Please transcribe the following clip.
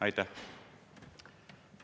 Aitäh!